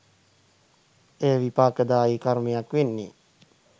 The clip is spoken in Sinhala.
එය විපාකදායි කර්මයක් වෙන්නේ